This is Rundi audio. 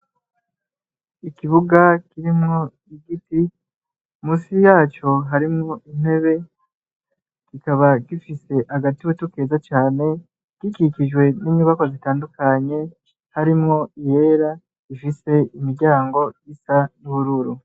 Ikibuga kirimwo igiti musi yaco harimwo intebe gikaba gifise hagati witukeza cane gikikijwe n'imyubako zitandukanye harimwo yera ifise imiryango yisa n'ubururu.